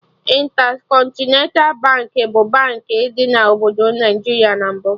Intercontinental Baankị bụ Baankị dị na obodo Naịjiria na mbụ